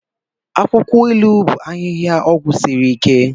Akwụkwọ ilu bụ ahịhịa ọgwụ siri ike.